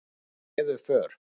Þau réðu för.